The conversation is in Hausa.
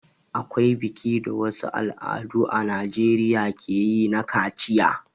Akwai biki da wasu al'adu a najeriya ke yi na kaciya.